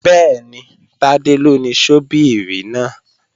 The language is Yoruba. Bẹ́ẹ̀ni, Tádé ló ni ṣọ́bíìrì náà